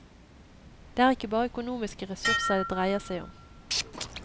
Det er ikke bare økonomiske ressurser det dreier seg om.